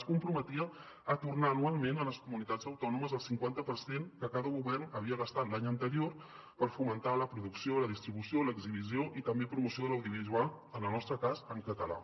es comprometia a tornar anualment a les comunitats autònomes el cinquanta per cent que cada govern havia gastat l’any anterior per fomentar la producció la distribució l’exhibició i també la promoció de l’audiovisual en el nostre cas en català